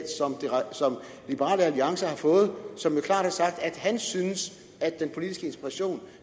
liberal alliance har fået som jo klart har sagt at han synes at den politiske inspiration